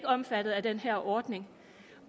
omfattet af den her ordning